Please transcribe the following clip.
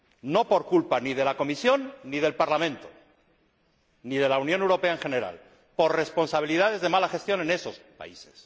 No por culpa ni de la Comisión ni del Parlamento, ni de la Unión Europea en general por responsabilidad de mala gestión en esos países.